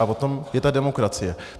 A o tom je ta demokracie.